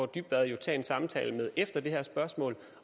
dybvad jo tage en samtale med efter det her spørgsmål